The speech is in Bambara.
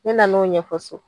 Ne nan'o ɲɛfɔ so